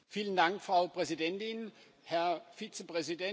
Frau Präsidentin, Herr Vizepräsident!